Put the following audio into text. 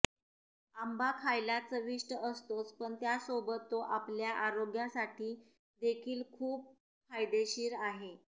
आंबा खायला चविष्ट असतोच पण त्यासोबत तो आपल्या आरोग्यासाठी देखील खूप फायदेशीर आहे